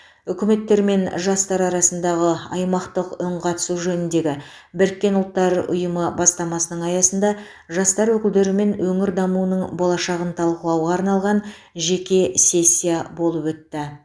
үкіметтер мен жастар арасындағы аймақтық үнқатысу жөніндегі біріккен ұлттар ұйымы бастамасының аясында жастар өкілдерімен өңір дамуының болашағын талқылауға арналған жеке сессия болып өтті